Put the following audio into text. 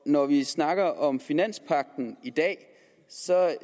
når vi snakker om finanspagten i dag